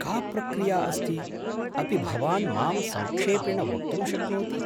का प्रक्रिया अस्ति, अपि भवान् मां संक्षेपेण वक्तुं शक्नोति?